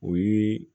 O ye